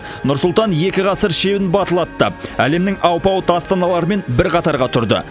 нұр сұлтан екі ғасыр шебін батыл аттап әлемнің алпауыт астаналарымен бір қатарға тұрды